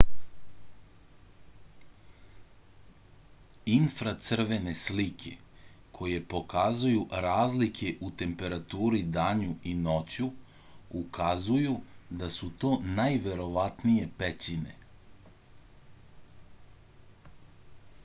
infracrvene slike koje pokazuju razlike u temperaturi danju i noću ukazuju da su to najverovatnije pećine